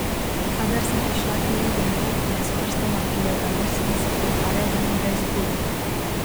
Kadar sem prišla k Lili domov, me je s prstoma prijel za nos in se pretvarjal, da mi ga je izpulil.